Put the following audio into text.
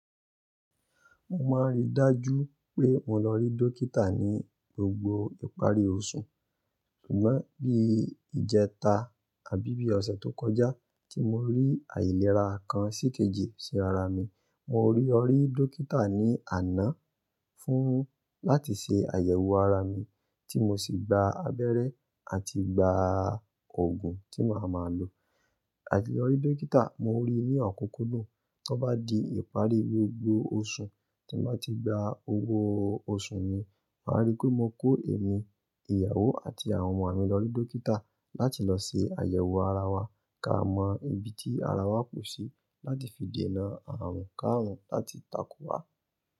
Mo máa rí dájú pé mo lọ rí dókítà ní gbogbo ìparí oṣù. Bí ijetà, àbí bí ọ̀sẹ̀ tó kọjá tí mo rí ìlera kan sí kejì sí ara mi, mo lọ rí dókítà ní àná láti ṣe àyẹ̀wò ara mi, tí mo sì gba abẹrẹ àti gba òògùn tí màá máa lò. Àti lórí dókítà? Mo rí ní òkùnkùn dún, tí ó bá di ìparí gbogbo oṣù, tí mo bá ti gba owó oṣù mi, máa rí pé mo kó èmi, ìyàwó àti àwọn ọmọ mi lórí dókítà, láti lọ ṣe àyẹ̀wò ara wa. Ká mọ ibi tí ara wa kù sí, láti fi dé nà àrùn kárùn láti tako wa.